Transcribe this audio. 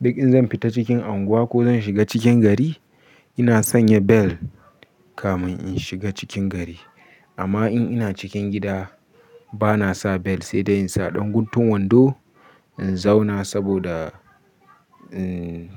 Duk in zan fita cikin anguwa ko zan shiga cikin gari ina sanya bel kamin in shiga cikin gari. Amma in ina cikin gida bana sa belt sai dai in sa ɗan guntun wando in zauna saboda, emm.